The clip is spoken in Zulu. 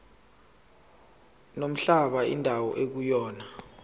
nomhlaba indawo ekuyona